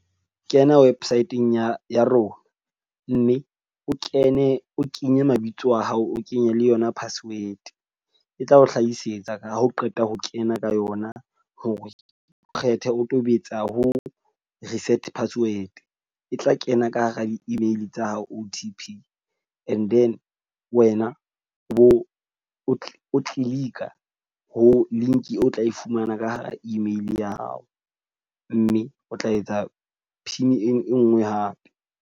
Kena website-ng ya ya rona. Mme o kene o kenye mabitso a hao, o kenye le yona password. E tla o hlahisetsa ka ha o qeta ho kena ka yona hore o kgethe, o tobetsa ho reset password. E tla kena ka hara di-email tsa hao O_T_P. And then wena o bo o click-a ho link o tla e fumana ka hara email ya hao. Mme o tla etsa pin e nngwe hape.